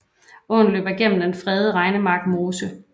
Åen løber gennem den fredede Regnemark Mose